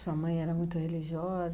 Sua mãe era muito religiosa.